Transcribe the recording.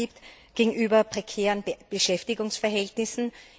geschlagen gibt gegenüber prekären Beschäftigungsverhältnissen?